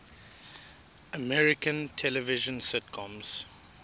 american television sitcoms